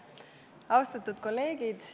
Austatud kolleegid!